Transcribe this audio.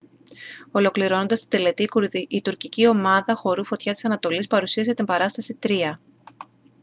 ολοκληρώνοντας την τελετή η τουρκική ομάδα χορού φωτιά της ανατολής παρουσίασε την παράσταση «τροία»